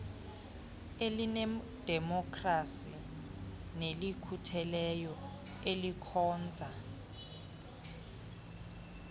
elinedemokhrasi nelikhutheleyo elikhonza